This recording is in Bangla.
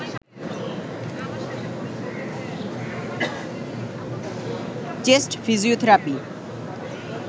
chest physiotherapy